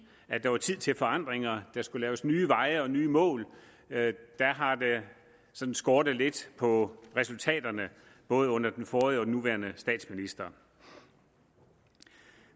at det var tid til forandringer der skulle laves nye veje og nye mål har det sådan skårtet lidt på resultaterne både under den forrige og den nuværende statsminister